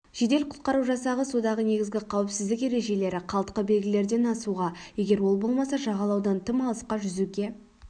жедел-құтқару жасағы судағы негізгі қауіпсіздік ережелері қалтқы белгілерден асуға егер ол болмаса жағалаудан тым алысқа жүзуге